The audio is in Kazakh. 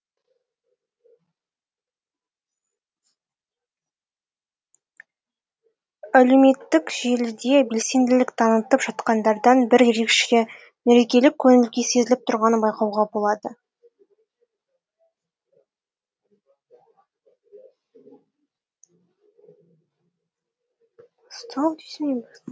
әлеуметтік желіде белсенділік танытып жатқандардан бір ерекше мерекелік көңіл күй сезіліп тұрғанын байқауға болады